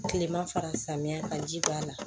Kilema fara samiya kan ji b'a la